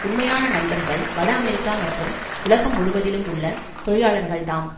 உண்மையான நண்பர்கள் வட அமெரிக்கா மற்றும் உலகம் முழுவதிலும் உள்ள தொழிலாளர்கள்தாம்